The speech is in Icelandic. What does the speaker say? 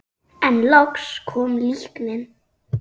En loks kom líknin.